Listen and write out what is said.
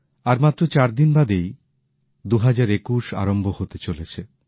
আর মাত্র চারদিন বাদেই ২০২১ আরম্ভ হতে চলেছে